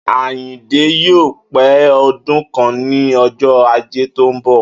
Àyìndé yóò pé o̩dún kan ní o̩jó̩ Ajé tó ń bò̩